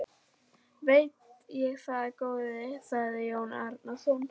Veit ég það góði, sagði Jón Arason.